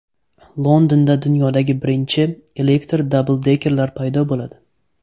Londonda dunyodagi birinchi elektr dabldekerlar paydo bo‘ladi.